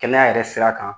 Kɛnɛya yɛrɛ sira kan